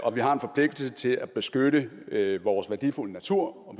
og vi har en forpligtelse til at beskytte vores værdifulde natur og